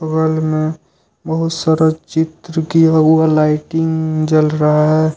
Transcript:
बगल में बहुत सारा चित्र किया हुआ लाइटिंग जल रहा है।